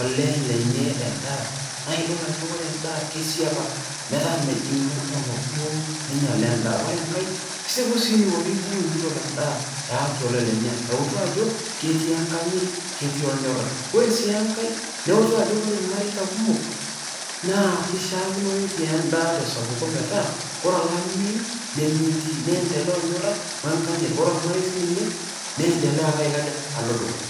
olee lenye endaa, naake idol ajo ore enda kisiepa metaa mejing' lojong'ok duo minyala endaa. Ore enkae isipu sii eniko tenibung' enkitok endaa peeyaki olee lenye, ewutu ajo ketii enkanyit, netii ornyora. Ore sii enkae neutu ajo ore irmarei kumok ishaakino netii endaa te sapuko metaa kore olameyu nemetii niemdelea ornyora we nkanyit, ore ormarei sininye niendelea aiko aja alo dukuya.